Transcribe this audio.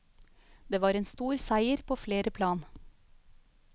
Det var en stor seier på flere plan.